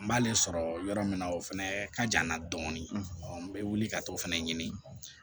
N b'ale sɔrɔ yɔrɔ min na o fɛnɛ ka jan n na dɔɔnin ɔ n bɛ wuli ka t'o fɛnɛ ɲini